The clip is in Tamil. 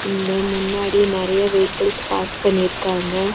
இங்க முன்னாடி நெறைய வெய்க்கல்ஸ் பார்க் பண்ணிருக்காங்க.